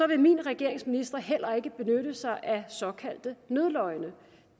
vil min regerings ministre heller ikke benytte sig af såkaldte nødløgne